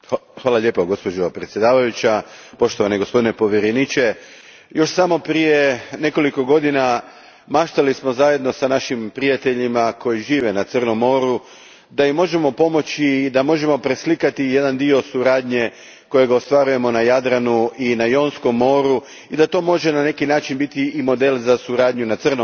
Gospođo predsjedavajuća, poštovani gospodine povjereniče, još samo prije nekoliko godina maštali smo zajedno s našim prijateljima koji žive na Crnom moru da im možemo pomoći i da možemo preslikati jedan dio suradnje koju ostvarujemo na Jadranu i na Jonskom moru, i da to može na neki način biti i model za suradnju na Crnom moru.